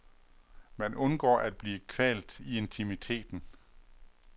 Man undgår at blive kvalt i intimiteten.